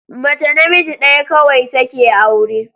Mace namiji ɗaya kawai take aure